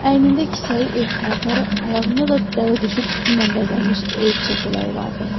Əynində kisəyi ev paltarı, ayağında da dəvəquşu tüküylə bəzənmiş ev çəkələyi vardı.